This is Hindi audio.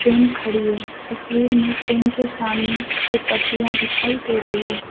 ट्रेन खड़ी है तस्वीर में ट्रेन के सामने से पटरिया दिखाई दे रही है।